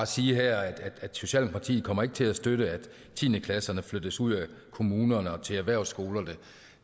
sige at socialdemokratiet ikke kommer til at støtte at tiende klasserne flyttes ud af kommunerne og til erhvervsskolerne